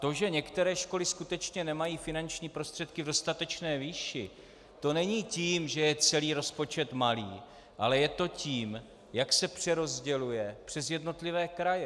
To, že některé školy skutečně nemají finanční prostředky v dostatečné výši, to není tím, že je celý rozpočet malý, ale je to tím, jak se přerozděluje přes jednotlivé kraje.